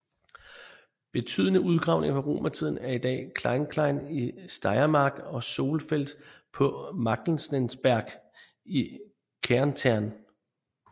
Betydende udgravninger fra romertiden er i dag Kleinklein i Steiermark og Zollfeld på Magdalensberg i Kärnten